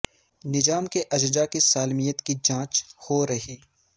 نظام کے اجزاء کی سالمیت کی جانچ ہو رہی